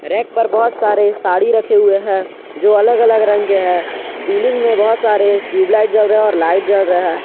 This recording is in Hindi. रैक पर बहोत सारे साड़ी रखे हुए हैं जो अलग अलग रंग के हैं सीलिंग में बहोत सारे ट्यूबलाइट जल रहे और लाइट जल रहे हैं।